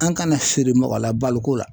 An kanasiri mɔgɔ la baloko la.